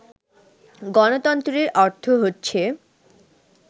গণতন্ত্রের অর্থ হচ্ছে